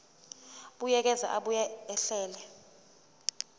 buyekeza abuye ahlele